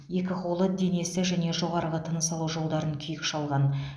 екі қолы денесі және жоғарғы тыныс алу жолдарын күйік шалған